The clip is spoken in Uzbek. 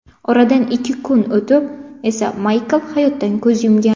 Oradan ikki kun o‘tib esa Maykl hayotdan ko‘z yumgan.